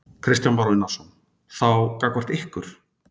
Kristján Már Unnarsson: Þá gagnvart ykkur?